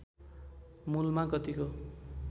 मूलमा गतिको